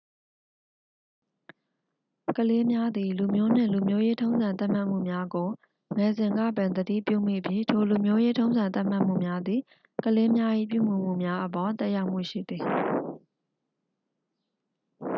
ကလေးများသည် လူမျိုးနှင့် လူမျိုးရေးထုံးစံသတ်မှတ်မှုများကို ငယ်စဉ်ကပင် သတိပြုမိပြီး ထို လူမျိုးရေးထုံးစံသတ်မှတ်မှုများသည် ကလေးများ၏ပြုမူမှုများအပေါ် သက်ရောက်မှုရှိသည်